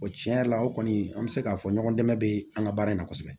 O tiɲɛ yɛrɛ la o kɔni an bɛ se k'a fɔ ɲɔgɔn dɛmɛ bɛ an ka baara in na kosɛbɛ